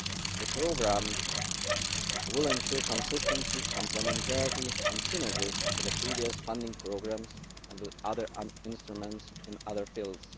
The programmes will ensure consistency, complementarity and synergies with the previous funding programmes and with other instruments in other fields.